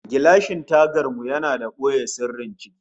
Gilashin tagan mu yana da boye sirrin ciki